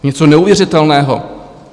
Něco neuvěřitelného.